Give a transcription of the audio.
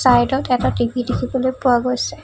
চাইদত এটা টি_ভি দেখিবলৈ পোৱা গৈছে।